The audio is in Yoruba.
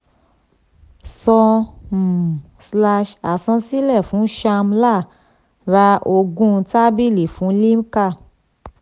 san um slash àsansílẹ̀ fún sham lal ra ogún tábìlì fún limca